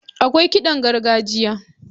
Akwai kiɗan gargajiya.